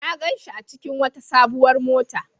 Na gan shi a cikin wata sabuwar mota.